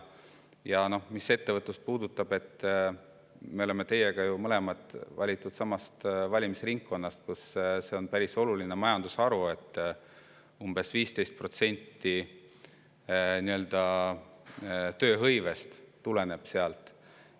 Mis puudutab ettevõtlust, siis me oleme mõlemad valitud samast valimisringkonnast, kus on päris oluline majandusharu – umbes 15% tööhõivest tuleb sealt.